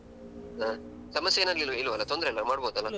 ಹ ಸಮಸ್ಯೆ ಏನಾಗಲಿಲ್ಲ ಇಲ್ವಲ್ಲಾ ತೊಂದ್ರೆ ಇಲ್ಲಲಾ ಮಾಡ್ಬಹುದಲ್ಲ.